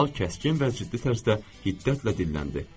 General kəskin və ciddi tərzdə hiddətlə dilləndi.